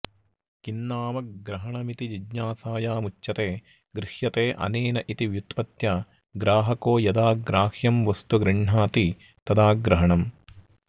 किन्नाम ग्रहणमिति जिज्ञासायामुच्यते गृह्यतेऽनेनेति व्युत्पत्त्या ग्राहको यदा ग्राह्यं वस्तु गृह्णाति तदा ग्रहणम्